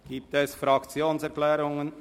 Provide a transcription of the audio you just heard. Gibt es Fraktionserklärungen?